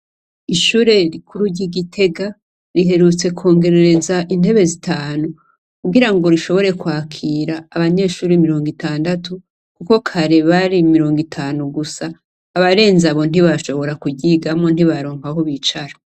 Ishure rikuru ry' i Gitega, riherutse kwongerereza intebe zitanu. Kugirango rishobore kwakira abanyeshure mirongo itandatu, kuko kare bari mirongo itanu gusa. Abarenze abo ntibashobora kuryigamwo, ntibaronka aho bicara.